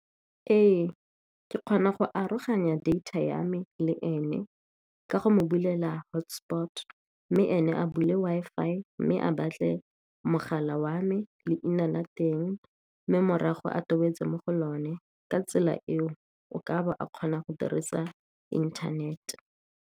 Ee, ke kgona go aroganya data ya me le ene ka go mo bulela hotspot, mme ene a bule Wi-Fi, mme a batle mogala wa me leina la teng, mme morago a tobetsa mo go lone. Ka tsela eo o ka kgona go dirisa internet.